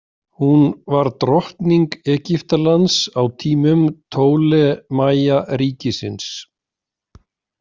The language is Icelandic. Hún var drottning Egyptalands á tímum Ptólemajaríkisins.